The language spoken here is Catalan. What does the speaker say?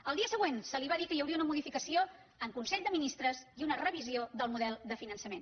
el dia següent se li va dir que hi hauria una modificació en consell de ministres i una revisió del model de finançament